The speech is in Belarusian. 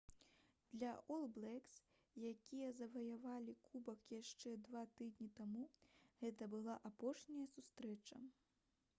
для «ол блэкс» якія заваявалі кубак яшчэ два тыдні таму гэта была апошняя сустрэча